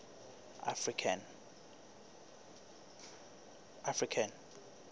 african